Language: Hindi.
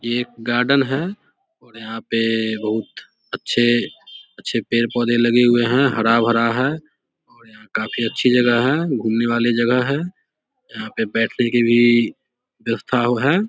ये एक गार्डन है और यहाँ पे बहुत अच्छे-अच्छे पेड़-पौधे लगे हुए है हरा-भरा है और यहाँ काफी अच्छी जगह है घुमने वाली जगह है यहाँ पे बैठने के लिए व्यवस्था हो है ।